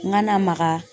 N ka na maka